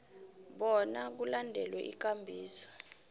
bona kulandelwe ikambiso